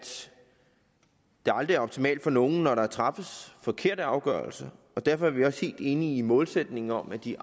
det aldrig er optimalt for nogen når der træffes forkerte afgørelser og derfor er vi også helt enige i målsætningen om at de